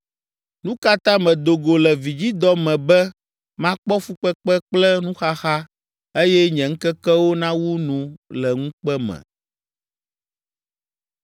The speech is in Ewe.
Nu ka ta medo go le vidzidɔ me be makpɔ fukpekpe kple nuxaxa eye nye ŋkekewo nawu nu le ŋukpe me?